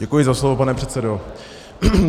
Děkuji za slovo, pane předsedo.